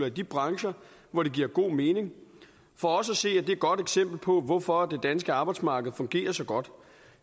i de brancher hvor det giver god mening for os at se er det et godt eksempel på hvorfor det danske arbejdsmarked fungerer så godt